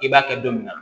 I b'a kɛ don min na